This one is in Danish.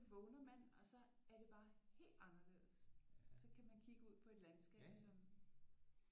Så vågner man og så er det bare helt anderledes så kan man kigge ud på et landskab som